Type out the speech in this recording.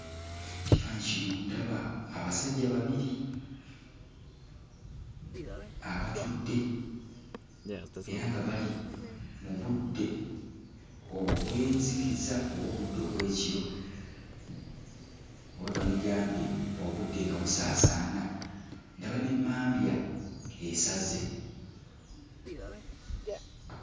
Ekifaananyi kino ndaba abasajja babiri abatudde era nga bali mu budde obw'enzikiza oba obudde obw'ekiro, oba twandigambye obudde nga busaasaana. Ndaba n'emmambya esaze.